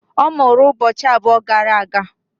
Ọ mụrụ ụbọchị abụọ gara aga.